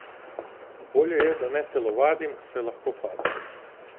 Bolje je, da ne telovadim, saj lahko padem.